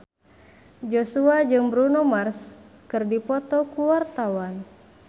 Joshua jeung Bruno Mars keur dipoto ku wartawan